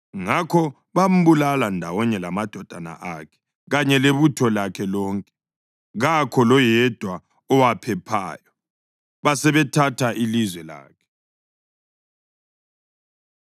Ngakho bambulala ndawonye lamadodana akhe kanye lebutho lakhe lonke, kakho loyedwa owaphephayo. Basebethatha ilizwe lakhe.